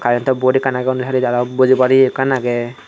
current to board ekkan aage undi hali jaga bojibar ye ekkan aage.